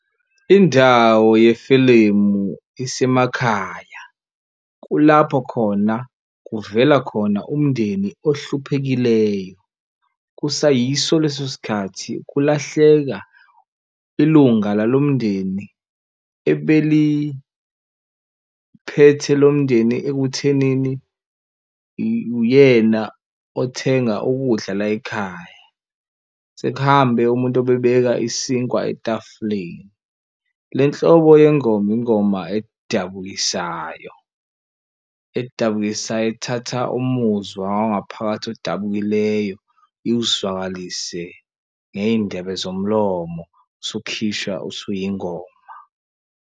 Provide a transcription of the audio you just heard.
Indawo yefilimu isemakhaya kulapho khona kuvela khona umndeni ohluphekileyo kusayiso leso sikhathi kulahleka ilunga lalo mndeni ebeliphethe lo mndeni ekuthenini uyena othenga ukudla layikhaya. Sekuhambe umuntu obebeka isinkwa etafuleni. Le nhlobo yengoma ingoma edabukisayo edabukisayo ethatha umuzwa wangaphakathi odabukileyo iwuzwakalise ngeyindebe zomlomo usukhishwa usuyingoma.